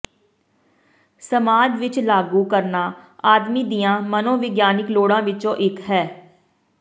ਸਮਾਜ ਵਿਚ ਲਾਗੂ ਕਰਨਾ ਆਦਮੀ ਦੀਆਂ ਮਨੋਵਿਗਿਆਨਕ ਲੋੜਾਂ ਵਿਚੋਂ ਇਕ ਹੈ